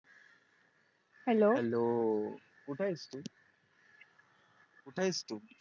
hellohello कुठ आहेस तू कुठ आहेस तू